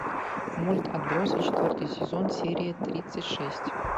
мульт отбросы четвертый сезон серия тридцать шесть